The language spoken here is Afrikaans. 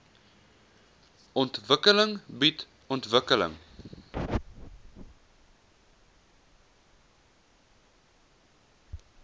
ontwikkeling bied ontwikkeling